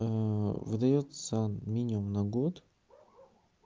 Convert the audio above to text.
выдаётся минимум на год